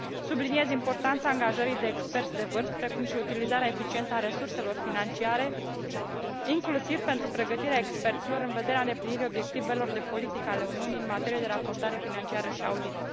Subliniez importanța angajării de experți de vârf, precum și utilizarea eficientă a resurselor financiare, inclusiv pentru pregătirea experților în vederea îndeplinirii obiectivelor de politică ale Uniunii în materie de raportare financiară și audit.